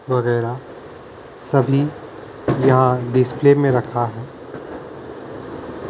वगैरह सभी या डिस्प्ले में रखा हैं ।